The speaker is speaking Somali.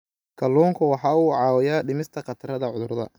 Kalluunku waxa uu caawiyaa dhimista khatarta cudurrada.